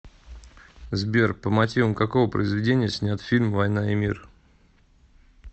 сбер по мотивам какого произведения снят фильм воина и мир